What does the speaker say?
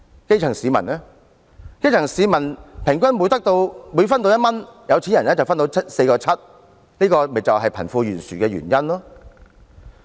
基層市民平均每分得1元，有錢人就分得 4.7 元，這就是造成貧富懸殊的原因。